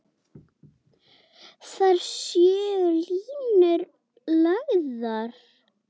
Þar séu línur lagðar.